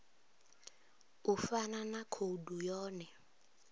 u fana na khoudu yone